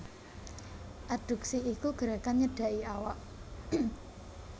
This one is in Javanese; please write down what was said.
Adduksi iku gerakan nyedhaki awak